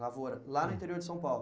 Lavoura, lá no interior de São Paulo?